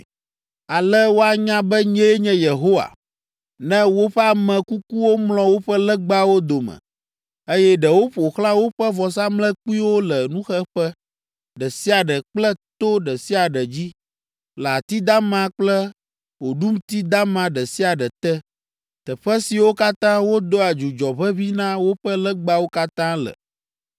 Ale woanya be nyee nye Yehowa, ne woƒe ame kukuwo mlɔ woƒe legbawo dome, eye ɖewo ƒo xlã woƒe vɔsamlekpuiwo le nuxeƒe ɖe sia ɖe kple to ɖe sia ɖe dzi, le ati dama kple oɖumti dama ɖe sia ɖe te, teƒe siwo katã wodoa dzudzɔ ʋeʋĩ na woƒe legbawo katã le.